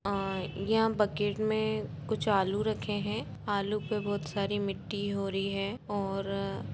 यह बकेट मे कुछ आलू रखे है आलू पे बहुत सारी मिट्टी हो रही है और --